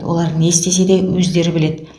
олар не істесе де өздері біледі